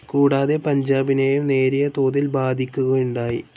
കൂടാതെ പഞ്ചാബിനേയും നേരിയതോതിൽ ബാധിക്കുകയുണ്ടായി.